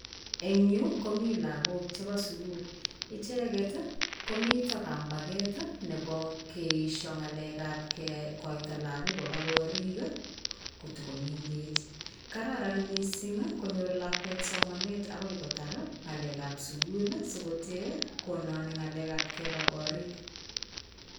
Eng yu ko mi lagok chepo sukul. Icheket komito kampaket nepo keesho ng'alekap kekoito lagok kopa korik kotakomenkechen. Kararan mising konyor lakwet somanet akoi kotar ng'alekap sukul sikotee kononi ng'alekap kepa korik.